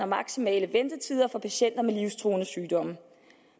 maksimale ventetider for patienter med livstruende sygdomme